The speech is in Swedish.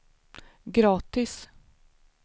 gratis